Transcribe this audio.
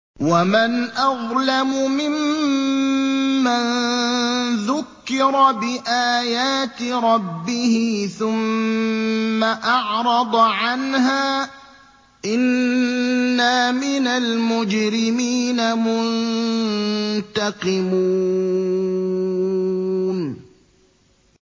وَمَنْ أَظْلَمُ مِمَّن ذُكِّرَ بِآيَاتِ رَبِّهِ ثُمَّ أَعْرَضَ عَنْهَا ۚ إِنَّا مِنَ الْمُجْرِمِينَ مُنتَقِمُونَ